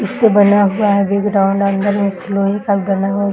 इससे बना हुआ है ग्राउंड अंदर में इस लोहे का बना हुआ --